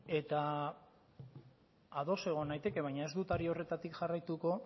eta ados egon naiteke baina ez dut ari horretatik jarraituko